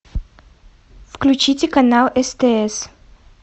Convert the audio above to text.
включите канал стс